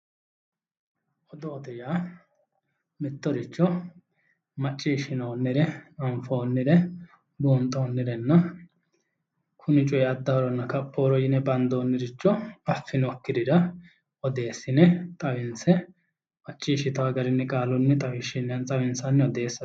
odoote yaa mittoricho maciishshinoonnire anfoonnire buunxoonnire kuni coy addahoronna kaphohoro yine bandoonniricho affinokkirira odeessine xawinse macciishshitawo garinni qaalunni xawinsanni odeessate.